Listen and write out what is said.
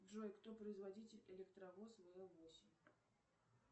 джой кто производитель электровоз вл восемь